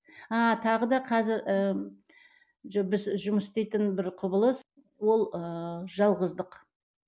ааа тағы да қазір жұмыс істейтін бір құбылыс ол ыыы жалғыздық